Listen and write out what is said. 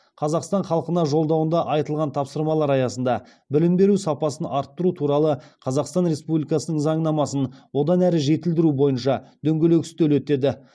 қазақстан халқына жолдауында айтылған тапсырмалар аясында білім беру сапасын арттыру туралы қазақстан республикасының заңнамасын одан әрі жетілдіру бойынша дөңгелек үстел өтеді